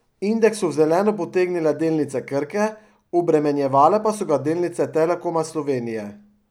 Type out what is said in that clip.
Indeks so v zeleno potegnile delnice Krke, obremenjevale pa so ga delnice Telekoma Slovenije.